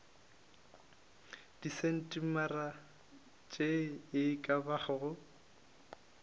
disentimetara tše e ka bago